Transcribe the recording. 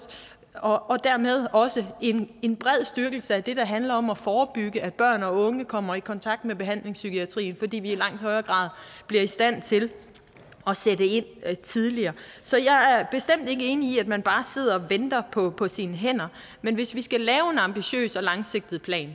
og og dermed også en bred styrkelse af det der handler om at forebygge at børn og unge kommer i kontakt med behandlingspsykiatrien fordi vi i langt højere grad bliver i stand til at sætte ind tidligere så jeg er bestemt ikke enig i at man bare sidder og venter på på sine hænder men hvis vi skal lave en ambitiøs og langsigtet plan